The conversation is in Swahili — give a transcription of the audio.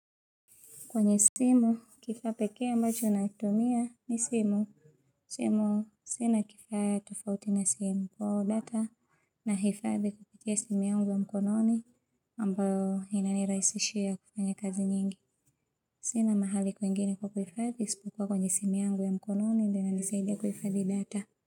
Kwenye simu, kifaa peke ambacho unatumia ni simu. Simu, sina kifaa tufauti na simu kwa data na hifadhi kupitia simu yangu ya mkononi ambayo inani raisishia kufanya kazi nyingi. Sina mahali kwengini kwa kifadhi ispukua kwenye simu yangu ya mkononi ndio ina nisaidia kufadhi data.